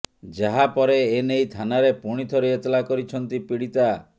ଯାହା ପରେ ଏନେଇ ଥାନାରେ ପୁଣି ଥରେ ଏତଲା କରିଛନ୍ତି ପୀଡ଼ିତା